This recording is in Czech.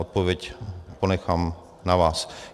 Odpověď ponechám na vás.